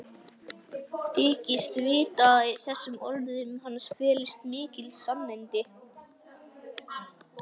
Þykist vita að í þessum orðum hans felist mikil sannindi.